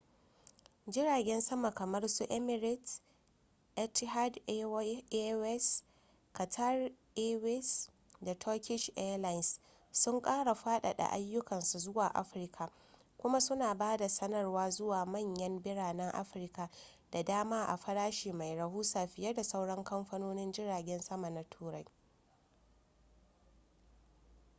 jiragen sama kamar su emirates etihad airways qatar airways da turkish airlines sun kara fadada ayyukansu zuwa afirka kuma suna ba da sadarwa zuwa manyan biranen afirka da dama a farashi mai rahusa fiye da sauran kamfanonin jiragen sama na turai